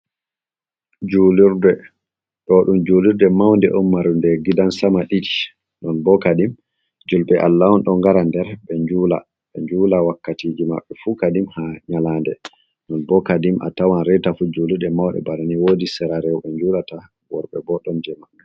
Juulurde, ɗo ɗum julirde Maunde'on marnde Gidan Sama ish. Non bo kadim julɓe Allah on ɗo ngara nder ɓe njula be njula wakkatiji mabɓe fu kadim ha nyalande. Non bo kadim atawan reita fu julurɗe mauɗe banani wodi Sera reuɓe njulata worbe bo ɗon je mabɓe.